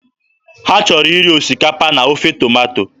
Ha chọrọ iri osikapa na ofe tomato.